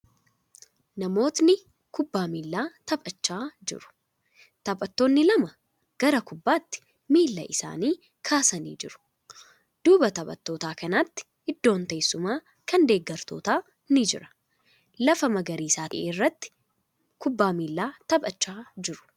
Namootni kubbaa miilaa taphachaa jiru. Taphattoonni lama gara kubbaatti miila isaanii kaasanii jiru. Duuba taphattoota kanaatti iddoon teessumaa, kan deeggartootaa ni jira. Lafa magariisa ta'e irratti kubbaa miilaa taphachaa jiru.